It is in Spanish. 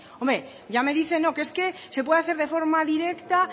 hombre ya me dice que es que se puede hacer de forma directa